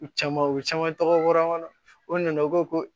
U caman u caman tɔgɔ fɔra an na o nana o ko ko